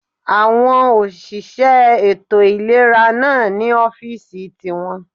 Àwọn òṣìṣẹ́ ètò ìlera náà ní ọ́fìsì ti wọn